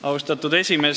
Austatud esimees!